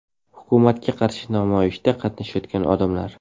Hukumatga qarshi namoyishda qatnashayotgan odamlar.